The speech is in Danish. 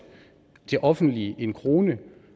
offentlige